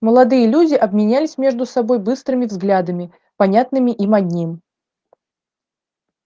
молодые люди обменялись между собой быстрыми взглядами понятными им одним